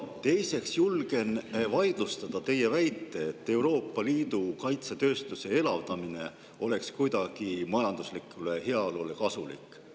Teiseks julgen vaidlustada teie väite, et Euroopa Liidu kaitsetööstuse elavdamine oleks kuidagi majanduslikule heaolule kasulik.